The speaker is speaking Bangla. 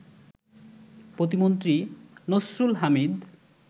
প্রতিমন্ত্রী নসরুল হামিদ